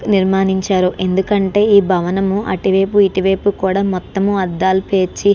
నిర్మానించారు ఎందుకు అంటే ఈ భవనం అటు వైపు ఇటు వైపు కూడా మొత్తము అద్దాలు పేర్చి --